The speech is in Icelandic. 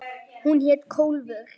Hún hét Kólfur.